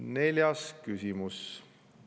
Neljas küsimus.